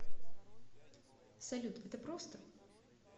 салют это просто